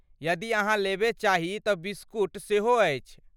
यदि अहाँ लेबय चाही तँ बिस्कुट सेहो अछि।